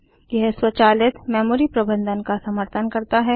यह स्वचालित मेमोरी प्रबंधन का समर्थन करता है